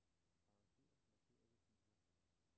Arranger markerede filer.